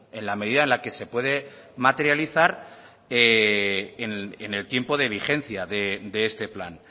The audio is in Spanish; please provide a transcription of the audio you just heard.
en la medida en la que se puede materializar en el tiempo de vigencia de este plan